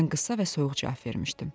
Mən qısa və soyuq cavab vermişdim.